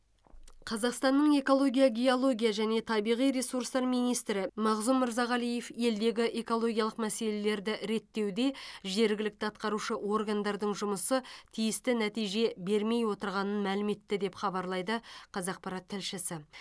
қазақстанның экология геология және табиғи ресурстар министрі мағзум мырзағалиев елдегі экологиялық мәселелерді реттеуде жергілікті атқарушы органдардың жұмысы тиісті нәтиже бермей отырғанын мәлім етті деп хабарлайды қазақпарат тілшісі